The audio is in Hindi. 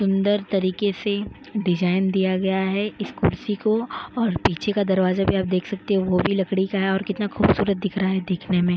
सुंदर तरीके से डिजाइन दिया गया है इस कुर्सी को और पीछे का दरवाजा भी आप देख सकते हैं वो भी लकड़ी का है और कितना खूबसूरत दिख रहा है देखने में --